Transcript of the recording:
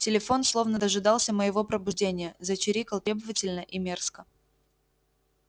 телефон словно дожидался моего пробуждения зачирикал требовательно и мерзко